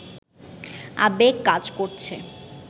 আবেগ কাজ করছে